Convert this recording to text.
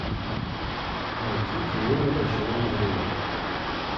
найти теория большого взрыва